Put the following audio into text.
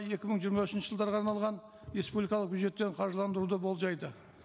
екі мың жиырма үшінші жылдарға арналған республикалық бюджеттен қаржыландыруды болжайды